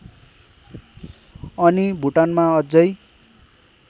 अनि भुटानमा अझै